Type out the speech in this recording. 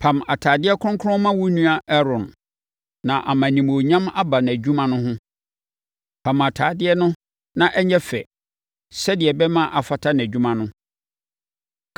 Pam atadeɛ kronkron ma wo nua Aaron na ama animuonyam aba nʼadwuma no ho. Pam atadeɛ no na ɛnyɛ fɛ, sɛdeɛ ɛbɛma afata nʼadwuma no.